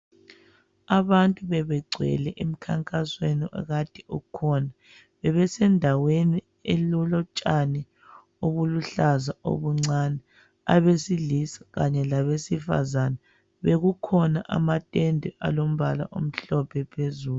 Abantu bebegcwele emkhankasweni okade ukhona. Bebesendaweni elolotshani obuluhlaza obuncane, abesilisa kanye labesifazana. Bekukhona amatende alombala omhlophe phezulu.